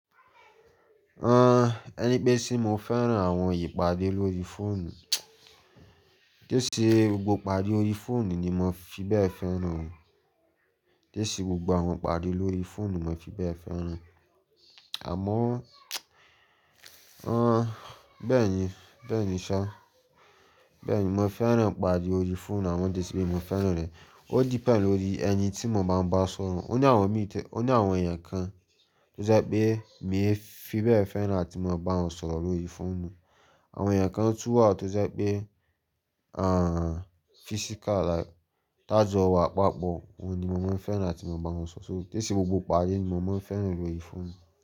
Ah, ẹni pé ṣé mo fẹ́ràn àwọn ìpàdé lórí fóònù? Téé sí gbogbo ìpàdé órí fóònù ni mo fi bẹ́ẹ̀ fẹ́ràn o. Téé sí gbogbo àwọn ìpàdé lórí fóònù mo fi bẹ́ẹ̀ fẹ́ràn. Àmọ́, ah, bẹ́ẹ̀ni, bẹ́ẹ̀ni ṣá. Bẹ́ẹ̀ni, mo fẹ́ràn ìpàdé orí fóònù àwọn déé sí bí mo fẹ́ràn rẹ̀. Ó depend lórí ẹni tí mo bá ń bá sọ̀rọ̀. Ó ní àwọn mi tẹ-- ó ní àwọn èèyàn kan tó sẹ́ pé mí fi bẹ́ẹ̀ fẹ́ràn láti mo bá wọn sọ̀rọ̀ lórí fóònù. Àwọn èèyàn kan tú à tó sẹ́ pé, physical like tájọ̀ wa, pàpọ̀, wọ́n ni mo máa ń fẹ́ràn láti mo bá wọn sọ̀rọ̀. So téé sí gbogbo ìpàdé ni mo máa ń fẹ́ràn lórí fóònù.